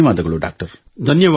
ಧನ್ಯವಾದಗಳು ಡಾಕ್ಟರ್